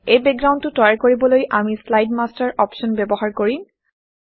এই বেকগ্ৰাউণ্ডটো তৈয়াৰ কৰিবলৈ আমি slide master slide master option ব্যৱহাৰ কৰিম